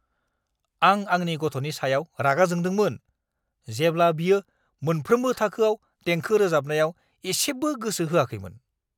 आं आंनि गथ'नि सायाव रागा जोंदोंमोन, जेब्ला बियो मोनफ्रोमबो थाखोआव देंखो रोजाबनायाव एसेबो गोसो होआखैमोन!